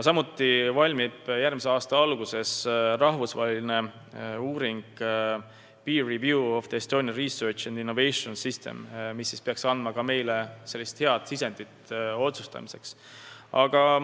Järgmise aasta alguses valmib rahvusvaheline uuring "Peer review of the Estonian research and innovation system", mis peaks meile andma hea sisendi otsustamiseks.